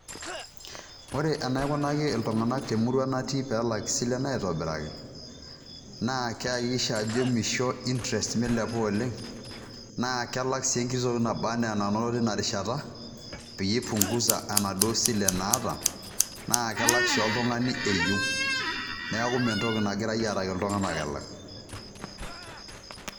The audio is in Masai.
Ore enaikunaki iltung'anak temurua natii peelak isilen aitobiraki naa keakikisha ajo meisho interest meilepa oleng naa kelak sii enkiti toki nabanaa enanoto teina rishata peyie eibunguza ena duo sile naata naa kelak sii oltung'ani eyieu neeku mentoki nagirai aaraki iltung'anak elak.